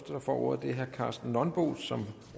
der får ordet er herre karsten nonbo som